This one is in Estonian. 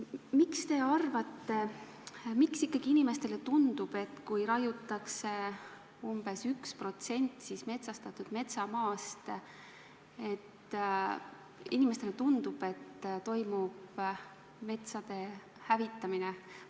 Mis te arvate, miks inimestele ikkagi tundub, et kui raiutakse lagedaks umbes 1% metsastatud metsamaast, siis toimub metsade hävitamine?